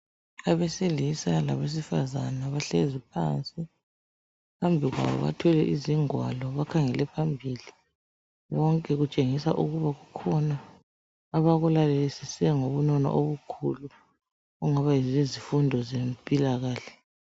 Abesilisa labesifazana bahlezi phansi phambi kwabo bathwele izingwalo bakhangele phambili .Konke kutshengisa ukuba kukhona abaku lalesise ngobunono obukhulu okungaba yizifundo zempilakahle.